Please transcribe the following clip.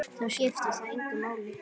Þó skiptir það engu máli.